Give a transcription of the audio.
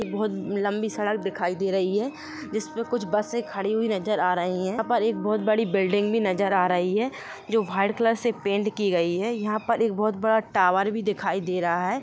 यह बहुत लम्बी सड़क दिखाई दे रही है जिसमे कुछ बसे खड़ी हुई नजर आ रही है यहाँ पर एक बहुत बड़ी बिल्डिंग भी नजर आ रही हे जो वाईट कलर से पेंट की गयी है यहा पे एक बहुत बड़ा टावर भी दिखाई दे रहा है।